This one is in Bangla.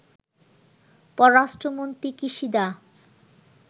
পররাষ্ট্রমন্ত্রী কিশিদা